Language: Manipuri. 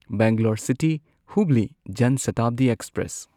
Bangalore city Hubli Jan Shatabdi express